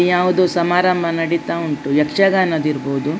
ಯಾವುದೊ ಸಮಾರಂಭ ನಡೀತಾ ಉಂಟು ಯಕ್ಷಗಾನದ್ದು ಇರಬಹುದು.